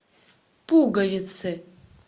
пуговицы